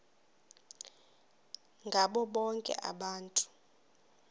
ngabo bonke abantu